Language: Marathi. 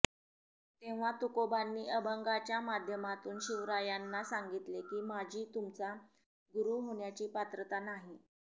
तेव्हा तुकोबांनी अभंगाच्या माध्यमातून शिवरायांना सांगितले की माझी तुमचा गुरु होण्याची पात्रता नाही